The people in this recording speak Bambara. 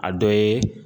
A dɔ ye